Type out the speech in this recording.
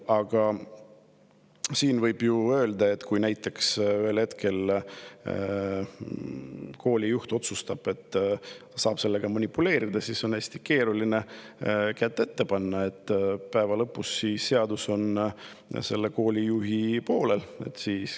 Aga kui näiteks koolijuht ühel hetkel otsustab sellega manipuleerida, siis on hästi keeruline kätt ette panna, sest seadus on koolijuhi poolel.